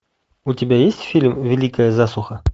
у тебя есть фильм великая засуха